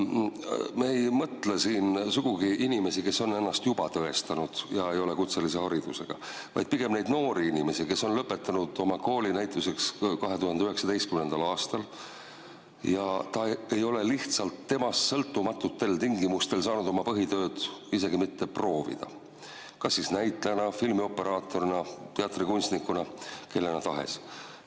Me ei mõtle siin sugugi inimesi, kes on ennast juba tõestanud ja ei ole kutselise haridusega, vaid pigem neid noori inimesi, kes lõpetasid kooli näiteks 2019. aastal ja ei ole lihtsalt endast sõltumatutel tingimustel saanud isegi mitte proovida oma põhitööd kas näitlejana, filmioperaatorina, teatrikunstnikuna või kellena tahes.